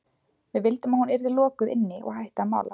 Við vildum að hún yrði lokuð inni og hætti að mála.